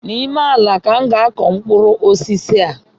N’ime ala ka m ga akụ mkpụrụ osisi a